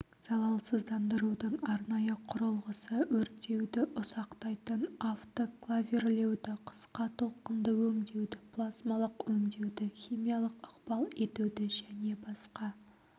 залалсыздандырудың арнайы құрылғысы өртеуді ұсақтайтын автоклавирлеуді қысқа толқынды өңдеуді плазмалық өңдеуді химиялық ықпал етуді және басқа